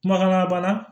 Kumakan labana